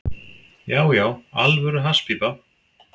Já, já, alvöru hasspípa.